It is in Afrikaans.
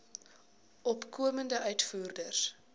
opkomende uitvoerders